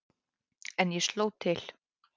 En ég sló til.